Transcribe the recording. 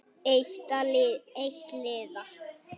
Eitt liða.